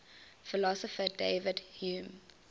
philosopher david hume